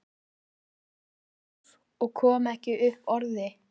Ég var stjörf og kom ekki upp orði.